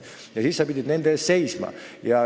Ja siis sa pidid nende eest seisma.